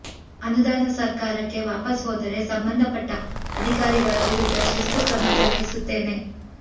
ಅನುದಾನ ಸರ್ಕಾರಕ್ಕೆ ವಾಪಸ್ ಹೋದರೆ ಸಂಬಂಧಪಟ್ಟ ಅಧಿಕಾರಿಗಳ ವಿರುದ್ಧ ಶಿಸ್ತು ಕ್ರಮ ಜರುಗಿಸುತ್ತೇನೆ